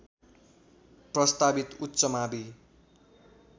प्रस्तावित उच्च मावि